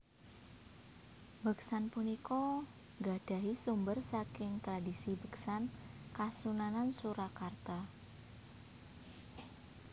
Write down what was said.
Beksan punika nggadahi sumber saking tradisi beksan Kasunanan Surakarta